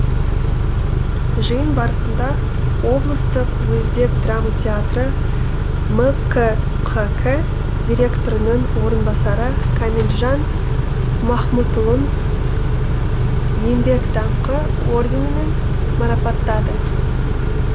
жиын барысында облыстық өзбек драма театры мкқк директорының орынбасары камилжан махмұтұлын еңбек даңқы орденімен марапаттады